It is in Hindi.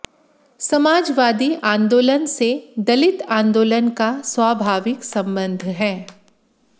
समाजवादी आंदोलन से दलित आंदोलन का स्वाभाविक संबंध है